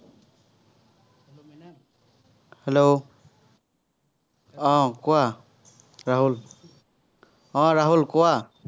hello! আহ কোৱা, ৰাহুল। আহ ৰাহুল, কোৱা।